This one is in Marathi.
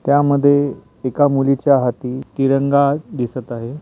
त्या मध्ये एका मुलीच्या हाती तिरंगा दिसत आहे.